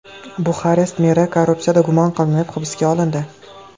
Buxarest meri korrupsiyada gumon qilinib, hibsga olindi.